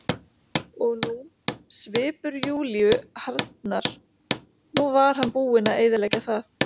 Og nú, svipur Júlíu harðnar, nú var hann búinn að eyðileggja það.